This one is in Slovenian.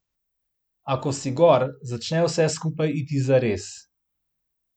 A ko si gor, začne vse skupaj iti zares.